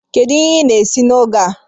Kedu ihe ị na-esi n'oge a?